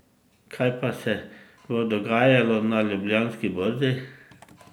Kaj pa se bo dogajalo na Ljubljanski borzi?